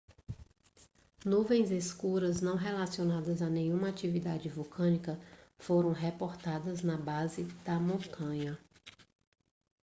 nuvens escuras não relacionadas a nenhuma atividade vulcânica foram reportadas na base da montanha